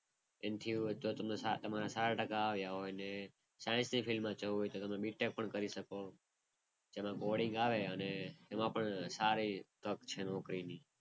એનથી તો તમારા સારા ટકા આવ્યા હોય. અને સાયન્સ ની ફિલ્મ જવું હોય તો BTECH પણ કરી શકો. એમાં બોર્ડિંગ આવે અને એમાં પણ સારી તક છે નોકરીની.